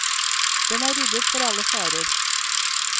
Den er ryddet for alle farer.